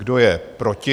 Kdo je proti?